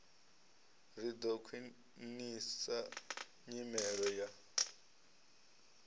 ri ḓo khwiṋisa nyimelo ya